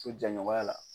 So jɛɲɔgɔnya la